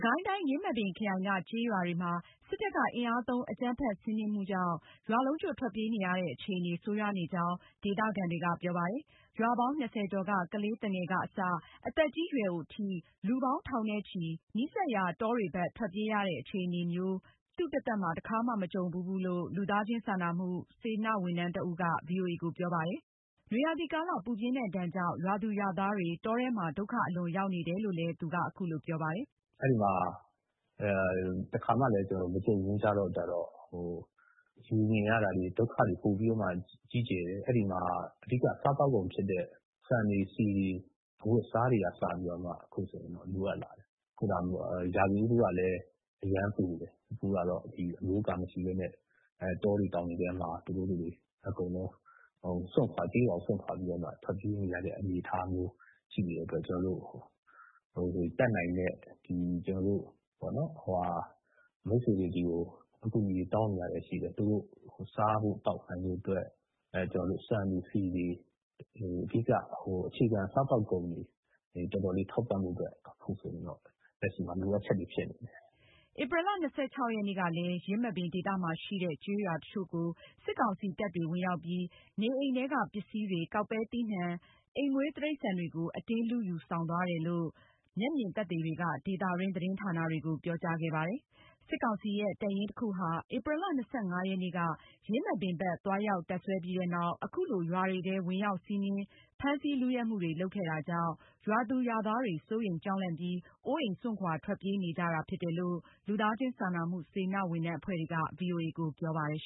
ကိုင်းတိုင်း ယင်းမာပင်ခရိုင်က ကျေးရွာတွေမှာ စစ်တပ်ကအင်အားသုံး အကြမ်းဖက်စီနင်းမှုကြောင့် ရွာလုံးကျွတ်ထွက်ပြေးနေရတဲ့ အခြေအနေ ဆိုးရွားနေကြောင်း ဒေသခံတွေက ပြောပါတယ်။ ရွာပေါင်း ၂၀ ကျော်က ကလေးသူငယ်ကအစ အသက်ကြီးရွယ်အိုထိ လူပေါင်း ထောင်နဲ့ချီပြီး နီးစပ်ရာ တောတွေဘက်ထွက်ပြေးကြတဲ့ အခြေအနေမျိုး သူတသက်တခါမှ မကြုံဘူးဘူးလို့ လူသားချင်းစာနာမှု စေတနာဝန်ထမ်းဒေသခံတဦးက ဗွီအိုအေကို ပြောပါတယ်။ နွေရာသီကာလ ပူပြင်းတဲ့ဒဏ်ကြောင့် ရွာသူရွာသားတွေ တောထဲမှာ ဒုက္ခအလွန်ရောက်နေတယ်လို့လည်း သူက အခုလိုပြောပါတယ်။ “ အဲဒီမှာ တခါမှလည်း မကြုံဘူးကြတော့ မြင်ရတာတွေ ဒုက္ခတွေပိုပြီးမှကြီးကျယ်တယ်။ အဲဒီမှာ အဓိကစားသောက်ကုန်ဖြစ်တဲ့ ဆန်တွေဆီတွေ ၊ အဝတ်အစားတွေကအစ အခုဆိုရင် ရာသီဥတုကလည်း အရမ်းပူတယ်။ အခုကတော့ အမိုးအကာမရှိပဲနဲ့ တောတွေတောင်တွေထဲမှာ သူတို့တွေ ကျေးရွာကို စွန့်ခွာပြီးတော့ ထွက်ပြေးနေရတဲ့ အနေအထားမျိုး ရှိနေတဲ့အတွက်ကြောင့် ကျနော်တို့ တတ်နိုင်တဲ့ ကျနော်တို့ မိတ်ဆွေတွေကို အကူအညီတောင်းနေရတာရှိတယ်။ သူတို့ စားဖို့ သောက်ဖို့ အတွက် ဆန်တွေဆီတွေ အခြေခံစားသောက်ကုန်တွေ ထောက်ဖို့အတွက် အခုဆိုရင်တော့ လက်ရှိမှာ လိုအပ်ချက်တွေဖြစ်နေတယ်။” ဧပြီလ ၂၆ ရက်နေ့ကလည်း ယင်းမာပင်ဒေသမှာရှိတဲ့ ကျေးရွာတချို့ကိုစစ်ကောင်စီ တပ်တွေဝင်ရောက်ပြီး နေအိမ်ထဲက ပစ္စည်းတွေ၊ ကောက်ပဲသီးနှံတွေ၊ အိမ်မွေးတိရိစ္ဆာန်တွေကို အတင်းလုယူဆောင်သွားတယ်လို့ မျက်မြင်သက်သေတွေက ဒေသတွင်း သတင်းဌာနတွေကို ပြောကြားခဲ့ပါတယ်။ စစ်ကောင်စီရဲ့ တပ်ရင်းတခုဟာ ဧပြီလ ၂၅ ရက်နေ့က ယင်းမာပင်ဘက်သွားရောက်တပ်စွဲပြီးနောက် အခုလို ရွာတွေထဲ ဝင်ရောက်စီးနင်း ဖမ်းဆီး လုယက်မှုတွေ လုပ်ခဲ့တာကြောင့် ရွာသူရွာသားတွေ စိုးရိမ်ကြောက်လန့်ပြီး အိုးအိမ်စွန့်ခွာ ထွက်ပြေးနေကြတာဖြစ်တယ်လို့ လူသားချင်းစာနာမှုစေတနာ့ဝန်ထမ်းအဖွဲ့တွေက ဗွီအိုအေကိုပြောပါတယ်။